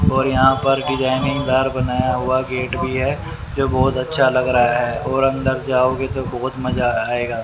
और यहां पर डिजाइनिंगदार बनाया हुआ गेट भी है जो बहोत अच्छा लग रहा है और अंदर जाओगे तो बहोत मजा आएगा।